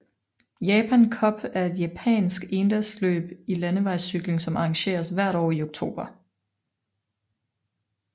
Japan Cup er et japansk endagsløb i landevejscykling som arrangeres hvert år i oktober